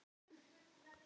Hún lánaði mér þessa bók.